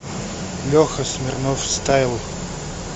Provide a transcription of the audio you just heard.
леха смирнов стайл